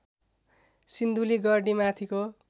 सिन्धुली गढी माथिको